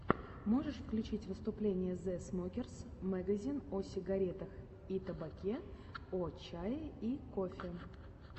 можешь включить выступление зэ смокерс мэгазин о сигарах и табаке о чае и кофе